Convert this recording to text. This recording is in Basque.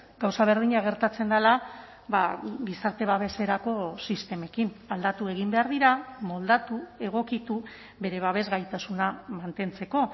gauza berdina gertatzen dela gizarte babeserako sistemekin aldatu egin behar dira moldatu egokitu bere babes gaitasuna mantentzeko